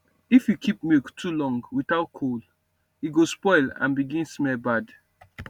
if you keep milk too long without cold e go spoil and begin smell bad